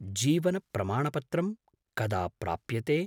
जीवनप्रमाणपत्रं कदा प्राप्यते?